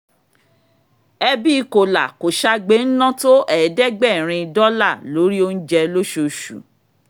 ẹbí kòlà-kòṣagbe ń ná tó ẹ̀ẹ́dẹ́gbẹ̀rin dọ́là lóri oúnjẹ lóṣooṣù